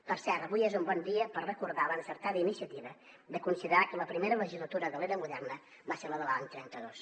per cert avui és un bon dia per recordar l’encertada iniciativa de considerar que la primera legislatura de l’era moderna va ser la de l’any trenta dos